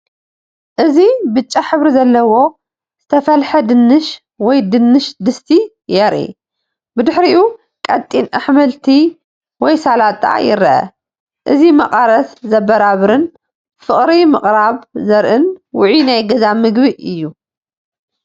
እዚ ብጫ ሕብሪ ዘለዎ ዝተፈለሐ ድንሽ ወይ ድንሽ ድስቲ የርኢ። ድሕሪኡ፡ ቀጢን ኣሕምልቲ ወይ ሰላጣ ይርአ። እዚ መቐረት ዘበራብርን ፍቕሪ ምቕራብ ዘርኢን ውዑይን ናይ ገዛ ምግቢ እዩ።